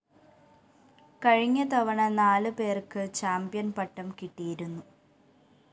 കഴിഞ്ഞ തവണ നാല് പേര്‍ക്ക് ചാമ്പ്യന്‍പട്ടം കിട്ടിയിരുന്നു